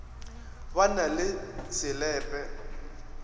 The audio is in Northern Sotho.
ba na se le pe